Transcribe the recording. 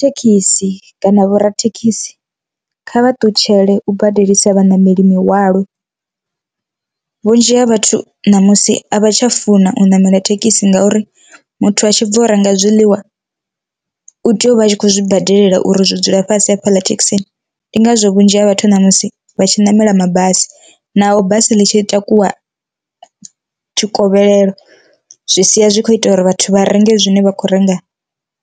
Thekhisi kana vhorathekhisi kha vha ṱutshele u badelisa vhaṋameli mihwalo, vhunzhi ha vhathu ṋamusi a vha tsha funa u ṋamela thekhisi ngauri muthu a tshi bva u renga zwiḽiwa u tea uvha a tshi kho zwi badelela uri zwi dzula fhasi hafhaḽa thekhisini, ndi ngazwo vhunzhi ha vhathu namusi vha tshi ṋamela mabasi. naho basi ḽi tshi takuwa tshikovhelelo, zwi sia zwi kho ita uri vhathu vha renge zwine vha khou renga